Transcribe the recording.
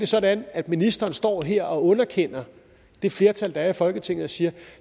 sådan at ministeren står her og underkender det flertal der er i folketinget og siger at